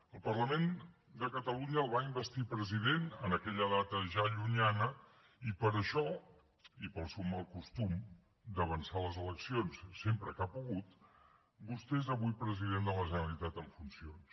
el parlament de catalunya el va investir president en aquella data ja llunyana i per això i per al seu mal costum d’avançar les eleccions sempre que ha pogut vostè és avui president de la generalitat en funcions